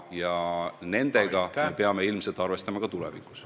Ja nendega me peame ilmselt arvestama ka tulevikus.